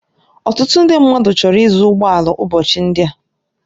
Ọtụtụ ndị mmadụ chọrọ ịzụ ụgbọ ala ụbọchị ndị a.